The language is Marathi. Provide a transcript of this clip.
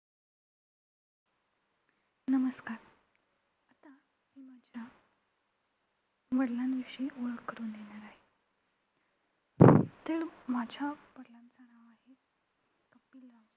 नमस्कार आता मी माझ्या वडिलांविषयी ओळख करून देणार आहे. माझ्या वडिलांचं नाव आहे कपिलदेशमुख.